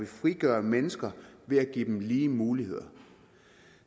frigør mennesker ved at give dem lige muligheder